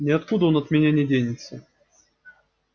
ни откуда он от меня не денется